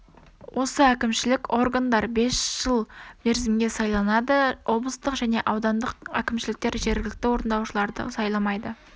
осы кәімшілік органдар бес жыл мерзімге сайланады облыстық және аудандық кімшіліктер жергілікті орындаушыларды сайламайды